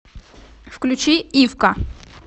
включи ивка